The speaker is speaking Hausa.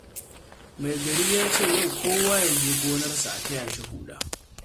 Mai gari ya ce yau kowa ya je gonarsa a taya shi huda